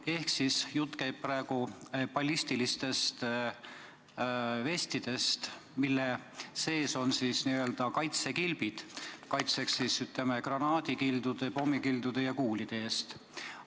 Ehk jutt käib praegu ballistilistest vestidest, mille sees on kaitsekilbid granaadikildude, pommikildude ja kuulide eest kaitsmiseks.